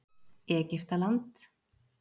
Egyptaland